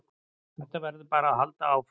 Þetta verður bara að halda áfram